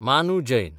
मानू जैन